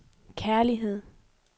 kærlighed